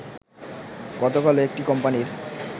গতকালও একটি কোম্পানির